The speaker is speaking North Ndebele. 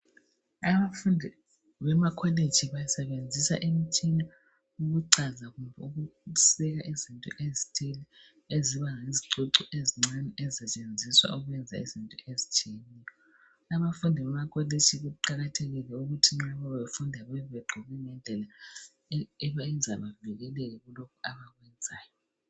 Abafundi bemakolitshi basebenzisa imitshina ukucaza kumbe ukusika izinto ezithile eziba yizicucu ezincane ezisetshenziswa ukwenza izinto ezithile. Kuqakathekile ukuthi lababafundi bagqoke ngendlela eyenza bevikeleke.